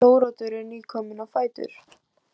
Þóroddur er nýkominn á fætur.